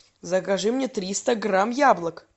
закажи мне триста грамм яблок